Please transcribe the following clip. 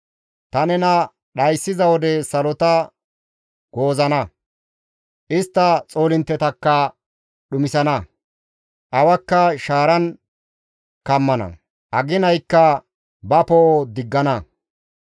Ta nena dhayssiza wode salota goozana; istta xoolinttetakka dhumisana; awakka shaaran kammana; aginaykka ba poo7o diggana.